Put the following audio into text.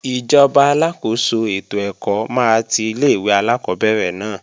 Ìjọba aláàkóso ètò ẹ̀kọ́ máa ti ilé-ìwé alákọ́bẹ̀rẹ̀ náà